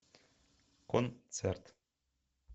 концерт